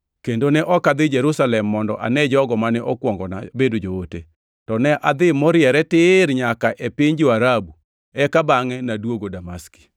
kendo ne ok adhi Jerusalem mondo ane jogo mane okuongona bedo joote, to ne adhi moriere tir nyaka e piny jo-Arabu eka bangʼe naduogo Damaski.